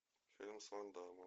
фильм с ван даммом